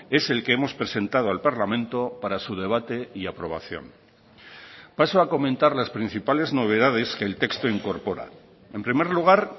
es el que hemos presentado al parlamento para su debate y aprobación paso a comentar las principales novedades que el texto incorpora en primer lugar